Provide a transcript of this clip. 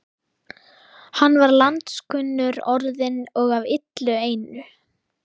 Hann var landskunnur orðinn og af illu einu.